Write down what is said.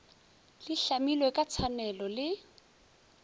di hlamilwe ka tshwanelo le